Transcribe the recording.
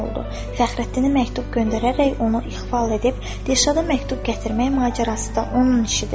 Fəxrəddinə məktub göndərərək onu ixval edib Dilşada məktub gətirmək macərası da onun işidir.